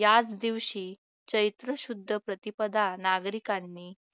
याच दिवशी चैत्र शुद्ध प्रतिपदा नागरिकांनी